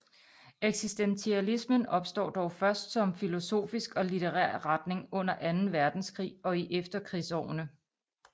Eksistentialismen opstår dog først som filosofisk og litterær retning under Anden Verdenskrig og i efterkrigsårene